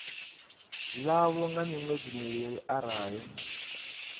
ḽavho nga miṅwedzi mivhili arali